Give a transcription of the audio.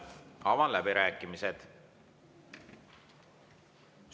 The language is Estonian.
Avan läbirääkimised.